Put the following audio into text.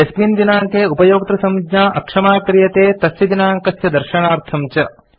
यस्मिन् दिनाङ्के उपयोक्तृसञ्ज्ञा अक्षमा क्रियते तस्य दिनाङ्कस्य दर्शनार्थं च